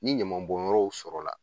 Ni ɲama bɔnyɔrɔw sɔrɔla la